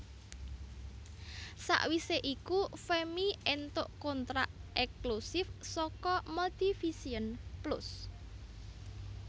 Sawise iku Femmy éntuk kontrak ekslusif saka Multivision Plus